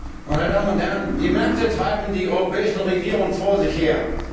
Herr Präsident, meine Damen und Herren! Die Märkte treiben die europäischen Regierungen vor sich her.